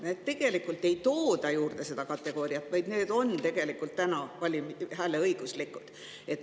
Nii et tegelikult ei tooda seda kategooriat juurde, vaid need on ka praegu hääleõiguslikud.